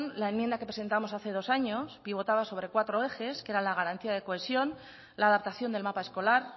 la enmienda que presentamos hace dos años pivotaba sobre cuatro ejes que eran la garantía de cohesión la adaptación del mapa escolar